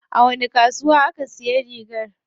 A wani kasuwa aka siya rigar?